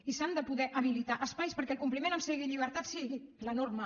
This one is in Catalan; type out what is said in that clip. i s’han de poder habilitar espais perquè el compliment en semillibertat sigui la norma